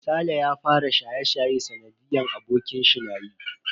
Saleh ya fara shaye-shaye sanadiyan abokanshi nayi.